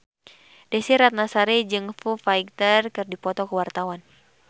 Desy Ratnasari jeung Foo Fighter keur dipoto ku wartawan